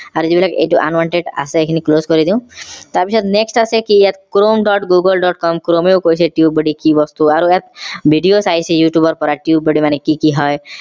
আৰু যি বিলাক unwanted আছে এই খিনি close কৰি দিও তাৰ পিছত next আছে কি ইয়াত chrome. google. com chrome ও কৈছে tubebuddy কি বস্তু আৰু ইয়াত videos চাইছে youtube ৰ পৰা tubebuddy মানে কি কি হয়